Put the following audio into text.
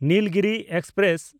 Nilgiri express